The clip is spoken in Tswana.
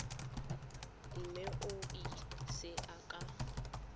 mme o e ise ka